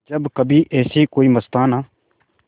जब कभी ऐसे कोई मस्ताना